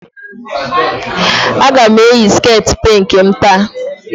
Aga m eyi sket pink m taa